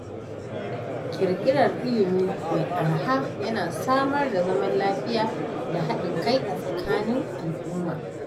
Ƙirƙirar ilimi mai araha yana samar da zaman lafiya da haɗin kai a tsakanin al’umma.